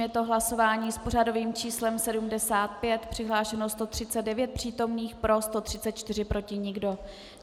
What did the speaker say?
Je to hlasování s pořadovým číslem 75, přihlášeno 139 přítomných, pro 134, proti nikdo.